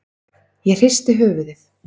Ég hristi höfuðið.